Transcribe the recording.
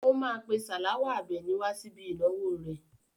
ó máa pè Salawa Àbẹ̀ní wá síbi ìnáwó rẹ̀.